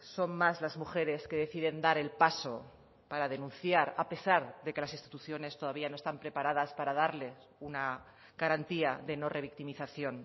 son más las mujeres que deciden dar el paso para denunciar a pesar de que las instituciones todavía no están preparadas para darles una garantía de no revictimización